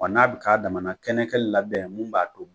Wa n'a bɛ k'a damana kɛnɛ kɛ labɛn min b'a to